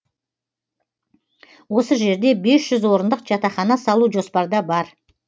осы жерде орындық жатақхана салу жоспарда бар